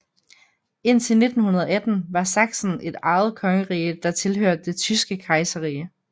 Indtil 1918 var Sachsen et eget kongerige der tilhørte det tyske kejserrige